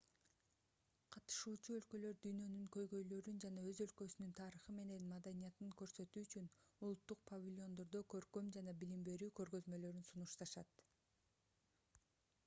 катышуучу өлкөлөр дүйнөнүн көйгөйлөрүн жана өз өлкөсүнүн тарыхы менен маданиятын көрсөтүү үчүн улуттук павильондордо көркөм жана билим берүү көргөзмөлөрүн сунушташат